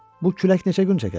Bu külək neçə gün çəkər?